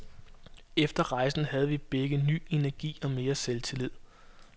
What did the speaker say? Efter rejsen havde vi begge ny energi og mere selvtillid.